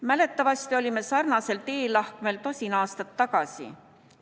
Mäletatavasti olime sarnasel teelahkmel tosin aastat tagasi.